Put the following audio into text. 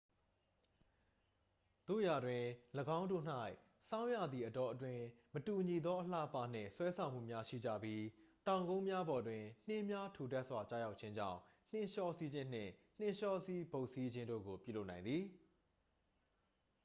သို့ရာတွင် ၎င်းတို့၌ ဆောင်းရာသီအတောအတွင်း မတူညီသော အလှအပနှင့် ဆွဲဆောင်မှုများရှိကြပြီး တောင်ကုန်းများပေါ်တွင် နှင်းများထူထပ်စွာကျရောက်ခြင်းကြောင့် နှင်းလျောစီးခြင်းနှင့် နှင်းလျောစီးဘုတ်စီးခြင်းတို့ကို ပြုလုပ်နိုင်သည်